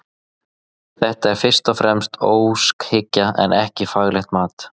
Þetta er fyrst og fremst óskhyggja en ekki faglegt mat.